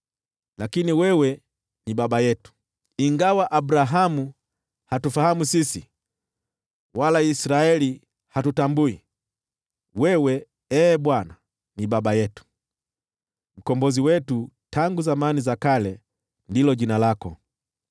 Lakini wewe ni Baba yetu, ingawa Abrahamu hatufahamu sisi wala Israeli hatutambui; wewe, Ee Bwana , ndiwe Baba yetu, Mkombozi wetu tangu zamani za kale ndilo jina lako.